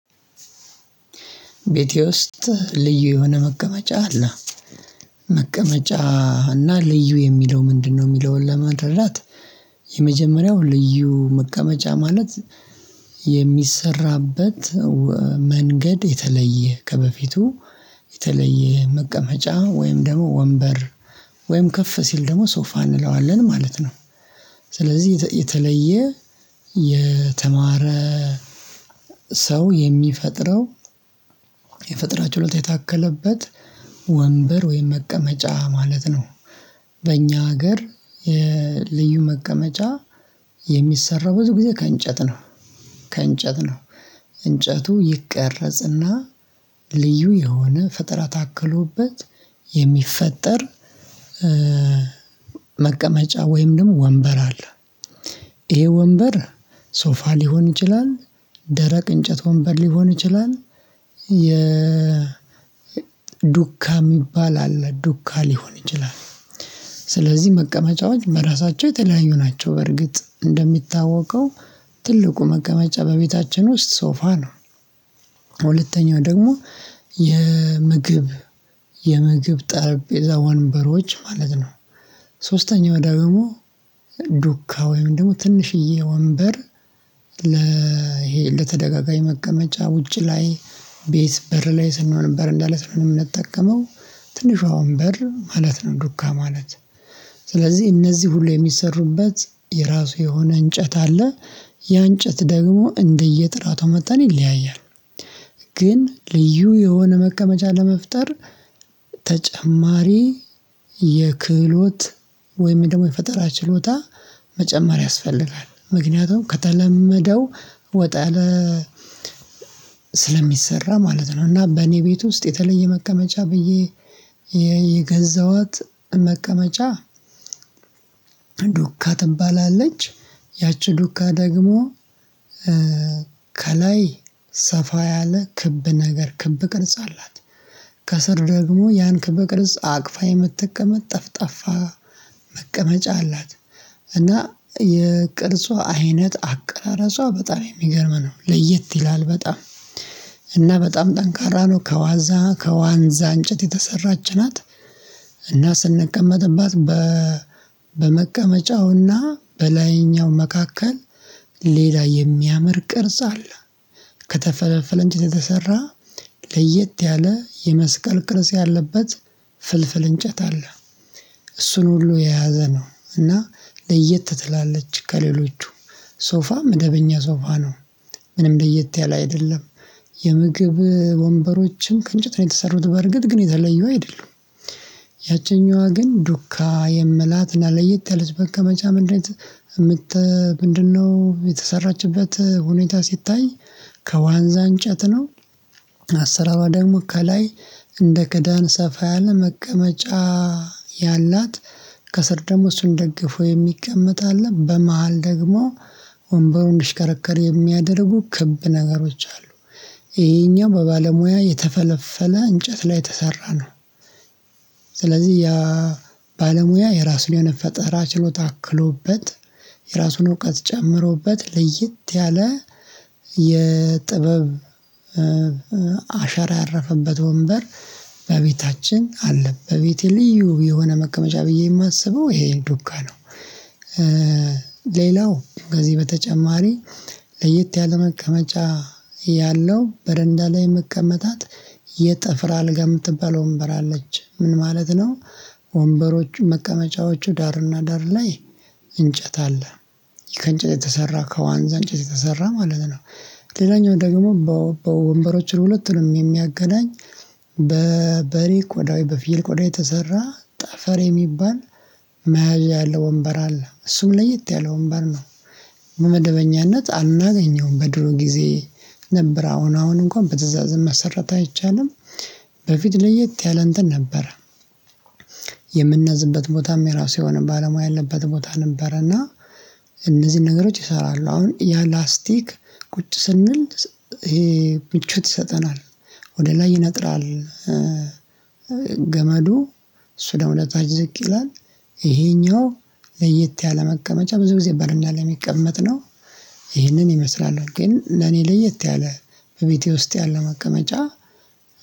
ቤቴ ውስጥ ልዩ የሆነ መቀመጫ አለ መቀመጫ እና ልዩ የሚለው ምንድነው? የሚለውን ለመረዳት የመጀመሪያው ልዩ መቀመጫ ማለት የሚሰራበት መንገድ የተለየ ከበፊቱ የተለየ መቀመጫ ወይም ደግሞ ወንበር ወይም ከፍ ሲል ደግሞ ሶፋ እንለዋለን ማለት ነው። ስለዚህ የተለየ የተማረ ሰው የሚፈጥረው የፈጠራችሎታ የታከለበት ወንበር ወይም መቀመጫ ማለት ነው። በእኛ ሀገር የልዩ መቀመጫ የሚሰራው ብዙ ጊዜ ከእንጨት ነው ከእንጨት ነው እንጨቱ ይቀረጽና ልዩ የሆነ ፈጠራ ታክሎበት የሚፈጠር መቀመጫ ወይም ደግሞ ወንበር አለ። ይሄ ወንበር ሶፋ ሊሆን ይችላል ደረቅ እንጨት ወንበር ሊሆን ይችላል። የ ዱካ የሚባል አለ ዱካ ሊሆን ይችላል። ስለዚህ መቀመጫዎች በራሳቸው የተለያዩ ናቸው በርግጥ እንደሚታወቀው ትልቁ መቀመጫ በቤታችን ውስጥ ሶፋ ነው። ሁለተኛው ደግሞ የምግብ ጠረጴዛ ወንበሮች ማለት ነው። ሶስተኛው ዳግሞ ዱካ ወይም ደግሞ ትንሽዬ ወንበር ለ ይሄ ለተደጋጋኝ መቀመጫ ውጪ ላይ ቤት በር ላይ ስንሆን በረንዳ ላይ ስንሆን እምንጠቀመው ትንሿ ወንበር ማለት ነው ዱካ ማለት። ስለዚህ እነዚህ ሁሌ የሚሰሩበት የራሱ የሆነ እንጨት አለ ያ እንጨት ደግሞ እንደየጥራቱ መጣን ይለያያል። ግን ልዩ የሆነ መቀመጫ ለመፍጠር ተጨማሪ የክህሎት ወይም ደግሞ የፈጠራ ችሎታ መጨማር ያስፈልጋል ምክንያቱም ከተለመደው ወጣያለ ስለሚሰራ ማለት ነው። እና በኔ ቤት ውስጥ የተለየ መቀመጫ ብዬ የገዛሃት መቀመጫ ዱካ ትባላለች ያቺ ዱካ ደግሞ ከላይ ሰፋ ያለ ክብ ነገር ክብ ቅርጽ አላት ከስር ደግሞ ያን ከብ ቅርጽ አቅፋ የምትጠቀመጥ ጠፍ ጠፋ መቀመጫ አላት። እና የቅርጿ አይነት አቀራረጿ በጣም የሚገርም ነው ለየት ይላል በጣም እና በጣም ጠንካራ ነው ከዋዛ ከዋንዛ እንጨት የተሰራች ናት። እና ስንቀመጥባት በመቀመጫውና በላይኛው መካከል ሌላ የሚያምር ቅርጽ አለ ከተፈለፈለ እንጨት የተሰራ ለየት ያለ የመስቀል ቅርጽ ያለበት ፍልፍል እንጨት አለ እሱን ሁሉ የያዘ ነው እና ለየት ትላለች ከሌሎቹ ሶፋም መደበኛ ሶፋ ነው። ምንም ለየት ያለ አይደለም። የምግብ ወንበሮችን ከእንጨት ነው የተሰሩት በርግጥ ግን የተለየው አይደሉም። ያቸኛዋ ግን ዱካ የምላትና ለየት ያለች መቀመጫ ምንድነው? የተሰራችበት ሁኔታ ሲታይ ከዋንዛ እንጨት ነው። አሰራሯ ደግሞ ከላይ እንደ ክዳን ሰፋ ያለ መቀመጫ ያላት ከስር ደግሞ እሱን ደግፎ የሚቀመጥ አለ በመሃል ደግሞ ወንበሩን እንድሽከረከር የሚያደርጉ ክብ ነገሮች አሉ ይሄኛው በባለሙያ የተፈለፈለ እንጨት ላይ የተሰራ ነው። ስለዚህ ያ ባለሙያ የራሱን የሆነፈጠራ ችሎታ አክሎበት የራሱን እውቀት ጨምሮበት ለይጥ ያለ የጥበብ አሻራ ያረፈበት ወንበር በቤታችን አለ። በቤቴ ልዩ የሆነ መቀመጫ ብዬ የማስበው ይሄን ዱካ ነው። ሌላው ከዚህ በተጨማሪ ለየት ያለ መቀመጫ ያለው በረንዳ ላይ መቀመጣት የጠፍራ አልጋ የምትባለው ወንበር አለች ምን ማለት ነው? ወንበሮች መቀመጫዎቹ ዳርና ዳር ላይ እንጨት አለ ከእንጨት የተሰራ ከዋንዛ እንጨት የተሰራ ማለት ነው። ሌላኛው ደግሞ በወንበሮችን ሁለት ነው የሚያገናኝ በበሪ ቆዳይ በፊል ቆዳ የተሰራ ጠፈር የሚባል መያዣ ያለው ወንበር አለ እሱም ለየት ያለው ወንበር ነው። በመደበኛነት አናገኘውም በድሮ ጊዜ ነበር አሁን አሁን እንኳን በትእዛዝም መሰራት አይቻልም። በፊት ለየት ያለእንትን ነበረ። የምናዝንበት ቦታም የራሱ የሆነ ባለሙያ ያለበት ቦታ ነበረና። እነዚህን ነገሮች ይሰራሉ አሁን ያ ላስቲክ ቁጭ ስንል ይሄ ምቾት ይሰጠናል ወደ ላይ ይነጥራል። ገመዱ እሱ ደግሞ ወደታች ዝቅ ይላል። ይሄኛው ለየት ያለ መቀመጫ ብዙ ጊዜ በረንዳ ላይ ሚቀመጥ ነው። ይህንን ይመስላል ግን ለኔ ለየት ያለ በቤቴ ውስጥ ያለው መቀመጫ